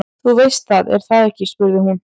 Þú veist það, er það ekki spurði hún.